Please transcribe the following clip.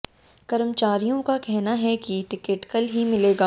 कर्र्मचारियों का कहना है कि टिकट कल ही मिलेगा